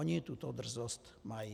Oni tuto drzost mají.